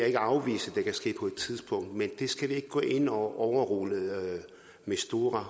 ikke afvise vil ske på et tidspunkt men vi skal ikke gå ind og overrule mistura